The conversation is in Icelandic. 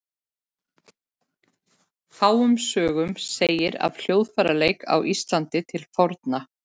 Fáum sögum segir af hljóðfæraleik á Íslandi til forna.